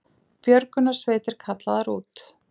Björgunarsveitir kallaðar út